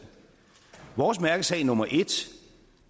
vores mærkesag nummer en